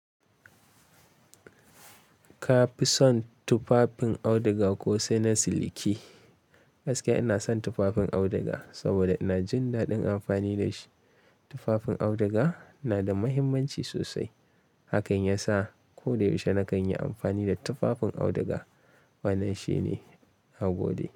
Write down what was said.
Ka fi son tufafin auduga ko sai na siliki? Gaskiya ina son tufafin auduga saboda ina jin daɗin amfani da shi. Tufafin auduga na da mahimmanci sosai, hakan yasa ko da yaushe nakan yi amfani da tufafin auduga. Wannan shine nagode.